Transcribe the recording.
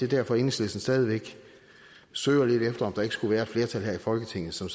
derfor enhedslisten stadig væk søger lidt efter om der ikke skulle være et flertal her i folketinget som